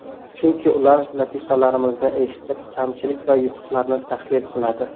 Chunki ular latifalarimizni eshitib, kamchilik va yutuqlarni tahlil qiladi.